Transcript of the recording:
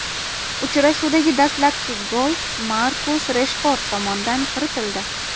Uchrashuvdagi dastlabki gol Markus Reshford tomonidan kiritildi.